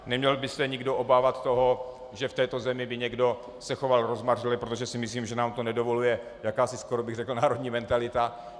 Neměl by se nikdo obávat toho, že v této zemi by někdo se choval rozmařile, protože si myslím, že nám to nedovoluje jakási, skoro bych řekl, národní mentalita.